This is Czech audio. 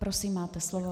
Prosím, máte slovo.